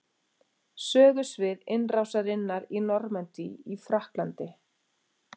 Sögusvið innrásarinnar í Normandí í Frakklandi.